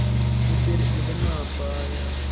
के फिर उड़ ना पाया